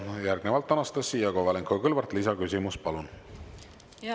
Järgnevalt Anastassia Kovalenko-Kõlvart, lisaküsimus, palun!